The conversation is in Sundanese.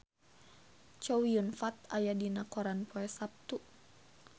Chow Yun Fat aya dina koran poe Saptu